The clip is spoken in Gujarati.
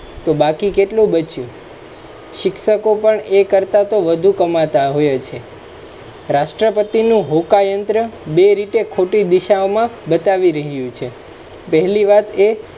તો બાકી કેટલુ બચ્યુ. શિક્ષકો પણ એ કરતા વધુ કમાતા હોય છે. રાષ્ટ્રપતિનુ હોકાયંત્ર બે રીતે ખોટી દિશાઓમા બતાવી રહયું છે પહેલી વાત એ